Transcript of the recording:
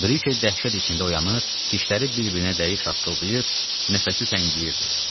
Brike dəhşət içində oyanır, dişləri bir-birinə dəyib şaqqıldayır, nəfəsi təngiyirdi.